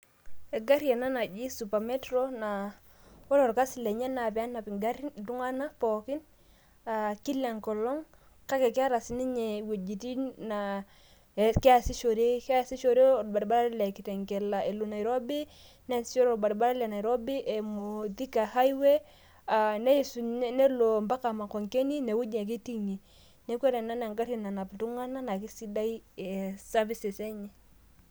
egari ena naaji super metro naa ore orkasi lenye naa pee enap iltung'anak pooki kila engolong', kake keeta siininye wejitin naa kee sishore ,keesishore orbaribara le kitengela elo nairobi emu thika high way nelo ampaka makongeni, neeku ore ena naa egari nanap iltung'anak naa kisidai servises enye.